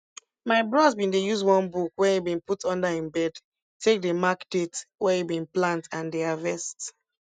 my bros bin dey use one book wen e bin put under im bed take dey mark date wen e bin plant and di harvest